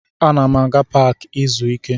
Ana m aga paakị ịga zuo ike